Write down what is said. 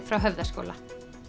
frá Höfðaskóla